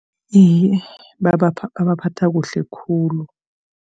Iye, babaphatha kuhle khulu.